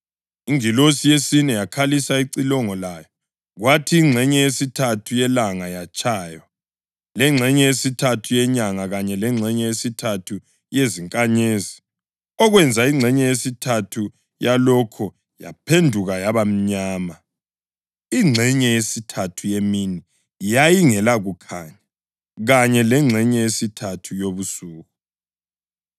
Ingilosi yesine yakhalisa icilongo layo, kwathi ingxenye yesithathu yelanga yatshaywa, lengxenye yesithathu yenyanga kanye lengxenye yesithathu yezinkanyezi, okwenza ingxenye yesithathu yalokhu yaphenduka yaba mnyama. Ingxenye yesithathu yemini yayingelakukhanya, kanye lengxenye yesithathu yobusuku.